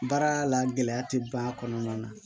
Baara la gɛlɛya tɛ ban a kɔnɔna na